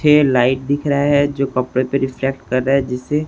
पीछे लाइट दिख रहा है जो कपड़े पर रिफ्लेक्ट कर रहा है जिसे--